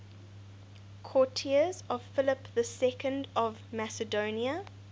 courtiers of philip ii of macedon